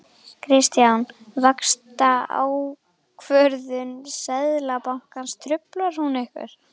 Kristján: Vaxtaákvörðun Seðlabankans, truflar hún ykkur?